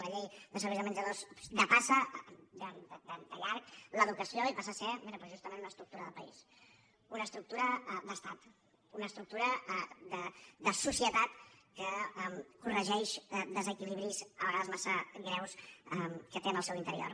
i la llei de serveis de menjador depassa de llarg l’educació i passa a ser mira doncs justament una estructura de país una estructura d’estat una estructura de societat que corregeix desequilibris a vegades massa greus que té en el seu interior